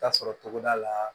Taa sɔrɔ togoda la